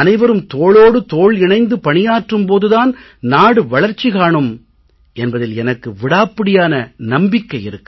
அனைவரும் தோளோடு தோள் இணைந்து பணியாற்றும் போது தான் நாடு வளர்ச்சி காணும் என்பதில் எனக்கு விடாப்பிடியான நம்பிக்கை இருக்கிறது